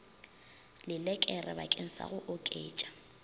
lelekere bakeng sa go oketša